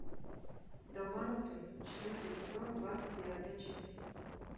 долбанутые четвертый сезон двадцать девятая часть